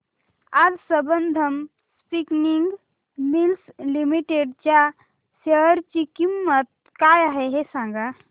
आज Sambandam spinning mills limited च्या share ची किंमत काय आहे हे सांगा